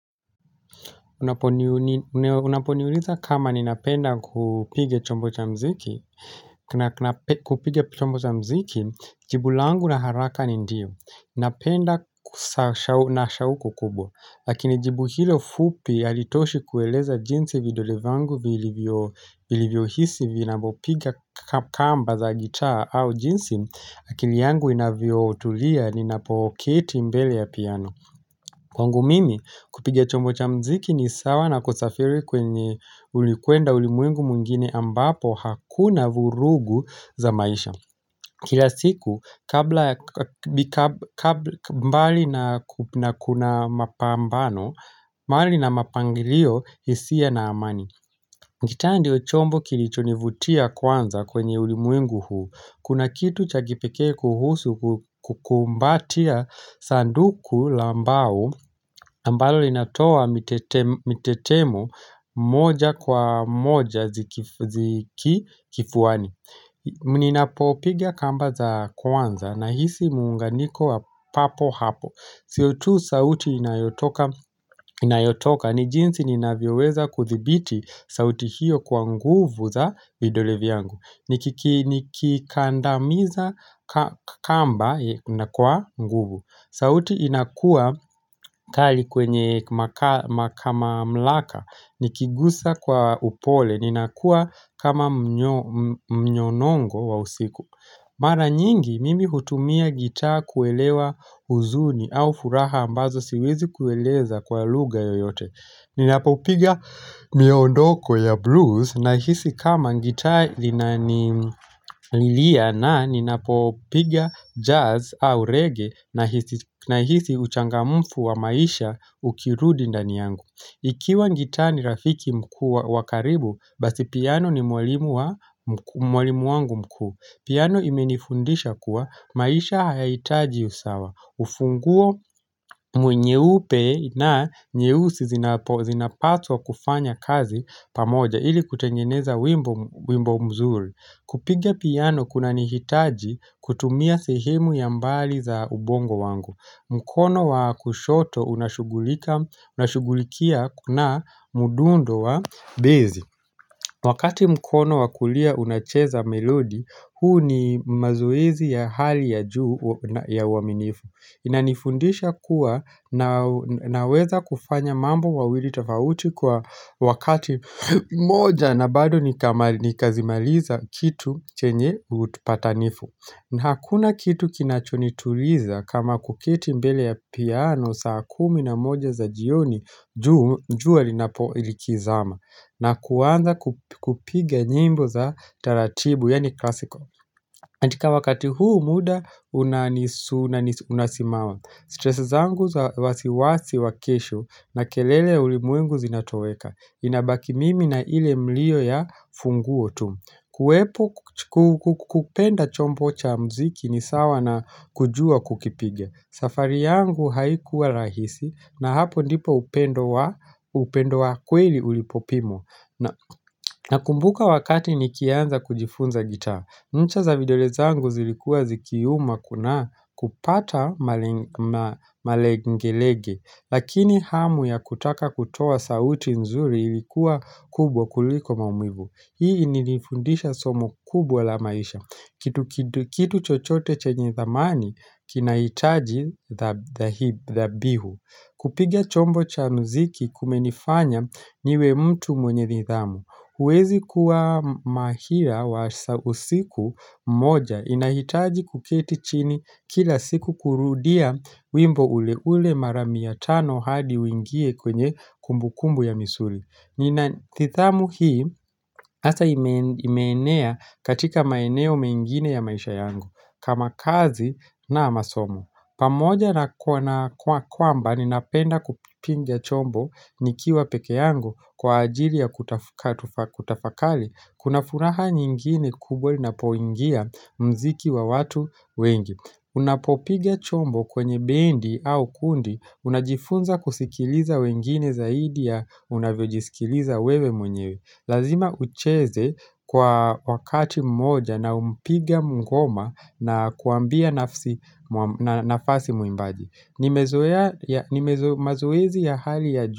Unaponiuliza kama ninapenda kupiga chombo cha muziki Kena kupiga chombo cha muziki jibu langu la haraka ni ndiyo Ninapenda na shauko kubwa Lakini jibu hilo fupi halitoshi kueleza jinsi vidole vyangu vilivyo hisi vinapo piga kamba za gitaa au jinsi akili yangu inavyo tulia ninapoketi mbele ya piano Kwangu mimi, kupiga chombo cha muziki ni sawa na kusafiri kwenye ulikwenda ulimwengu mwingine ambapo hakuna vurugu za maisha. Kila siku, kabla ya mbali na kuna mapambano, mali na mapangilio hisia na amani. Gitaa ndio chombo kilichonivutia kwanza kwenye ulimwengu huu. Kuna kitu cha kipekee kuhusu kukumbatia sanduku la mbao ambalo linatoa mitetemo moja kwa moja ziki kifuani. Ninapopiga kamba za kwanza nahisi muunganiko wa papo hapo siyo tu sauti inayotoka ni jinsi ninavyoweza kuthibiti sauti hiyo kwa nguvu za vidole vyangu Nikikandamiza kamba na kwa nguvu sauti inakua kali kwenye mamlaka Nikiguza kwa upole, ninakua kama mnyonongo wa usiku Mara nyingi, mimi hutumia gitaa kuelewa huzuni au furaha ambazo siwezi kueleza kwa lugha yoyote Ninapopiga miondoko ya blues nahisi kama gitaa linanililia na ninapopiga jazz au reggae nahisi uchangamfu wa maisha ukirudi ndani yangu ikiwa gitaa ni rafiki mkuu wa karibu, basi piano ni mwalimu wangu mkuu. Piano imenifundisha kuwa maisha hayahitaji usawa. Funguo nyeupe na nyeusi zinapatwa kufanya kazi pamoja ili kutengeneza wimbo mzuri. Kupiga piano kuna nihitaji kutumia sehemu ya mbali za ubongo wangu. Mkono wa kushoto unashugulikia na mdundo wa bezi. Wakati mkono wa kulia unacheza melodi, huu ni mazoezi ya hali ya juu ya uaminifu. Inanifundisha kuwa na weza kufanya mambo mawili tofauti kwa wakati moja na bado nikazimaliza kitu chenye upatanifu na Hakuna kitu kinachonituliza kama kuketi mbele ya piano saa kumi na moja za jioni jua linapozama na kuanza kupiga nyimbo za taratibu yaani klasiko Antika wakati huu muda unasimama Stresi zangu za wasiwasi wa kesho na kelele ya ulimwengu zinatoweka inabaki mimi na ile mlio ya funguo tu kupenda chombo cha muziki ni sawa na kujua kukipiga safari yangu haikuwa rahisi na hapo ndipo upendo wa kweli ulipopimwa Nakumbuka wakati nikianza kujifunza gitaa Ncha za vidole zangu zilikuwa zikiuma kuna kupata malengelege Lakini hamu ya kutaka kutoa sauti nzuri ilikuwa kubwa kuliko maumivu Hii ilinifundisha somo kubwa la maisha Kitu chochote chenye thamani kinahitaji dhabihu kupiga chombo cha muziki kumenifanya niwe mtu mwenye nidhamu huwezi kuwa mahila wa usiku moja inahitaji kuketi chini kila siku kurudia wimbo ule ule mara mia tano hadi uingie kwenye kumbukumbu ya misuri. Nina tithamu hii hasa imeenea katika maeneo mengine ya maisha yangu kama kazi na masomo. Pamoja na kwamba ninapenda kupiga chombo nikiwa pekee yangu kwa ajili ya kutafakali kuna furaha nyingine kubwa linapoingia muziki wa watu wengi. Unapopiga chombo kwenye bendi au kundi unajifunza kusikiliza wengine zaidi ya unavyojisikiliza wewe mwenyewe. Lazima ucheze kwa wakati mmoja na mpiga ngoma na kuambia nafasi muimbaji ni mazoezi ya hali ya juu.